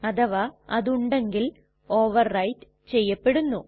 അഥവാ അത് ഉണ്ടെങ്കിൽ ഓവർ റൈറ്റ് ചെയ്യപ്പെടുന്നു